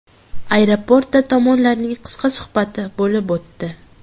Aeroportda tomonlarning qisqa suhbati bo‘lib o‘tdi.